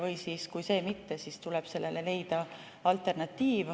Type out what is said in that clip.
Või kui mitte, siis tuleb sellele leida alternatiiv.